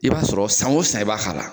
I b'a sɔrɔ san o san i b'a k'a la